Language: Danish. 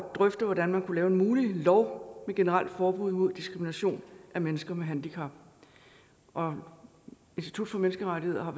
drøfte hvordan man kunne lave en mulig lov med generelt forbud mod diskrimination af mennesker med handicap og institut for menneskerettigheder har